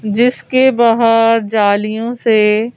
जिसके बाहर जालियों से--